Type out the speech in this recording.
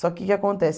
Só que o que acontece?